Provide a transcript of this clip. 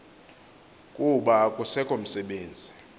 kuba akusekho msebenzi